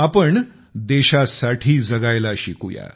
आपण देशासाठी जगण्याचे शिकलो